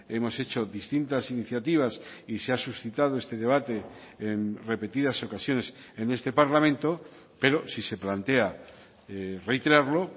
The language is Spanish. hemos hecho distintas iniciativas y se ha suscitado este debate en repetidas ocasiones en este parlamento pero si se plantea reiterarlo